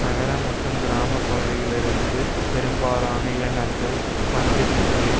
நகர மற்றும் கிராம பகுதிகளிலிருந்து பெரும்பாலான இளைஞர்கள் வந்திருந்தமை